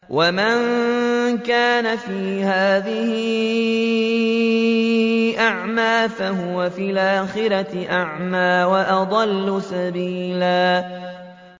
وَمَن كَانَ فِي هَٰذِهِ أَعْمَىٰ فَهُوَ فِي الْآخِرَةِ أَعْمَىٰ وَأَضَلُّ سَبِيلًا